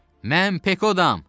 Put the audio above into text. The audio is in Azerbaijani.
Mən Pekodam.